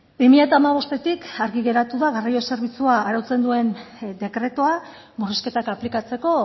bi mila hamabostetik argi geratu da garraio zerbitzua arautzen duen dekretua murrizketak aplikatzeko